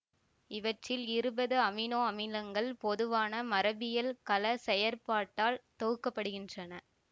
இவற்றில் இருபது அமினோ அமிலங்கள் பொதுவான மரபியல் கலச் செயற்பாட்டால் தொகுக்கப்படுகின்றன